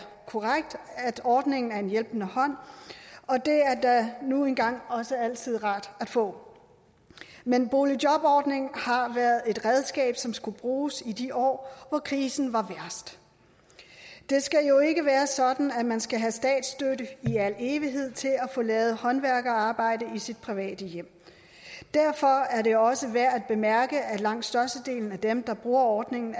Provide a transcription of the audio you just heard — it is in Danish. korrekt at ordningen er en hjælpende hånd og det er da nu engang også altid rart at få men boligjobordningen har været et redskab som skulle bruges i de år hvor krisen var værst det skal jo ikke være sådan at man skal have statsstøtte i al evighed til at få lavet håndværkerarbejde i sit private hjem derfor er det også værd at bemærke at langt størstedelen af dem der bruger ordningen